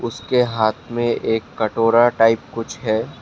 उसके हाथ में एक कटोरा टाइप कुछ है।